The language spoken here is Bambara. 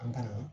An ka